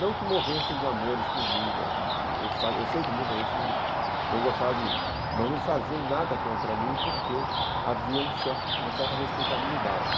Não que morressem de amores por mim, não, eu sei que muita gente não gostava de mim, mas não faziam nada contra mim porque havia uma certa respeitabilidade.